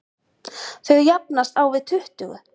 Þau jafnast á við tuttugu.